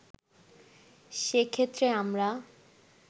সেক্ষেত্রে আমরা